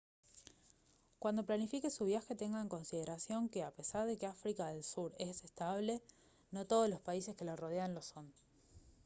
cuando planifique su viaje tenga en consideración que a pesar de que áfrica del sur es estable no todos los países que la rodean lo son